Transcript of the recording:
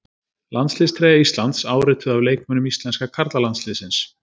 Landsliðstreyja Íslands, árituð af leikmönnum íslenska karlalandsliðsins.